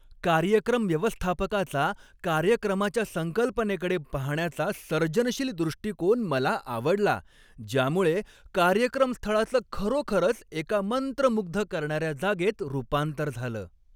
कार्यक्रम व्यवस्थापकाचा कार्यक्रमाच्या संकल्पनेकडे पाहण्याचा सर्जनशील दृष्टीकोन मला आवडला, ज्यामुळे कार्यक्रमस्थळाचं खरोखरच एका मंत्रमुग्ध करणाऱ्या जागेत रूपांतर झालं.